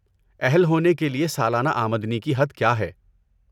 اہل ہونے کے لیے سالانہ آمدنی کی حد کیا ہے؟